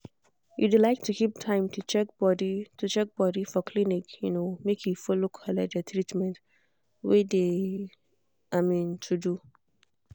you de like to keep time to check body to check body for clinic um make e follow collect de treatment wey de um to do.